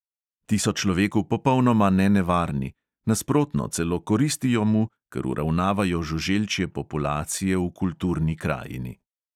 Ti so človeku popolnoma nenevarni, nasprotno, celo koristijo mu, ker uravnavajo žuželčje populacije v kulturni krajini.